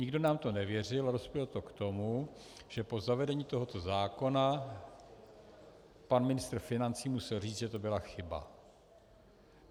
Nikdo nám to nevěřil a dospělo to k tomu, že po zavedení tohoto zákona pan ministr financí musel říct, že to byla chyba.